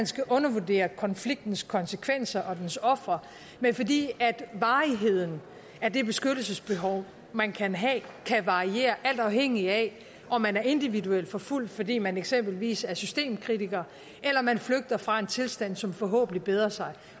skal undervurdere konfliktens konsekvenser og dens ofre men fordi varigheden af det beskyttelsesbehov man kan have kan variere alt afhængigt af om man er individuelt forfulgt fordi man eksempelvis er systemkritiker eller man flygter fra en tilstand som forhåbentlig bedrer sig